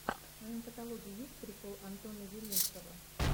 в твоем каталоге есть прикол антона зелинского